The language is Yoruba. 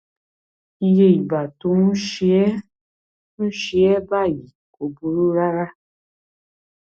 iye ìgbà tó o ń ṣe é ń ṣe é báyìí kò burú rárá